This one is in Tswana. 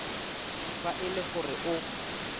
fa e le gore o